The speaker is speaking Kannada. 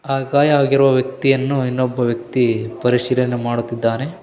ಆ ಗಾಯ ಆಗಿರುವ ವ್ಯಕ್ತಿಯನ್ನು ಇನ್ನೊಬ್ಬ ವ್ಯಕ್ತಿ ಪರಿಶೀಲನೆ ಮಾಡುತ್ತಿದ್ದಾನೆ .